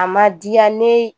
A ma diya ne